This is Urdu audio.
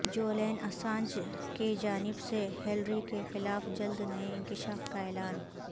جولین اسانج کیجانب سے ہیلری کیخلاف جلد نئے انکشاف کا اعلان